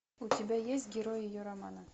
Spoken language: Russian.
у тебя есть герой ее романа